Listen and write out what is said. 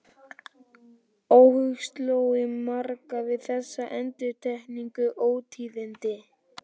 Óhug sló á marga við þessi endurteknu ótíðindi.